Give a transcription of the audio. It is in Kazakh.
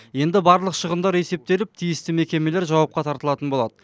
енді барлық шығындар есептеліп тиісті мекемелер жауапқа тартылатын болады